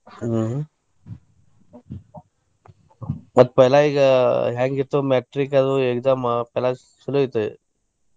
ಹ್ಮ್‌ ಮತ್ पैला ಈಗ ಹೆಂಗ ಇತ್ತು metric ದು exam ಬಾಳ ಚೊಲೋ ಇತ್ತ.